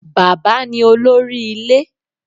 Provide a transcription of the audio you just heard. Bàbá ni Olórí Ilé